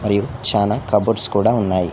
మరియు చాలా కబోర్డ్స్ కూడా ఉన్నాయి.